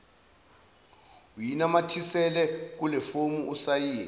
uyinamathisele kulefomu usayine